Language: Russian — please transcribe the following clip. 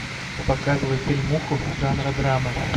показывай фильмуху жанра драма